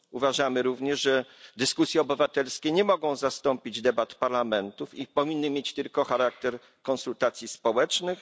Uważamy również, że dyskusje obywatelskie nie mogą zastąpić debat parlamentów i powinny mieć tylko charakter konsultacji społecznych.